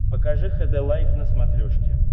покажи хд лайф на смотрешке